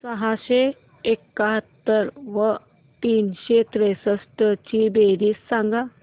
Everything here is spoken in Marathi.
सहाशे एकाहत्तर व तीनशे त्रेसष्ट ची बेरीज सांगा